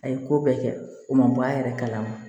A ye ko bɛɛ kɛ o ma bɔ a yɛrɛ kalama